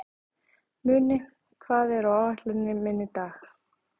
Muni, hvað er á áætluninni minni í dag?